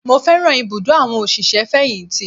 Mo fẹ́ràn ibùdó àwọn òṣìṣẹ́-fẹ̀yìntì